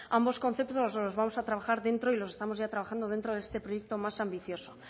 ambos conceptos los vamos a trabajar dentro y los estamos ya trabajando dentro de este proyecto más ambicioso